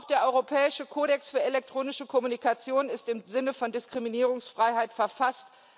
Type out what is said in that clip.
Auch der europäische Kodex für elektronische Kommunikation ist im Sinne von Diskriminierungsfreiheit verfasst.